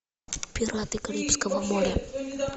пираты карибского моря